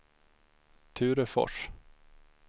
Ture Fors